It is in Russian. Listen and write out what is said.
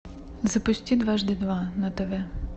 запусти дважды два на тв